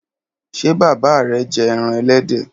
Ṣe baba rẹ jẹ ẹran ẹlẹdẹ?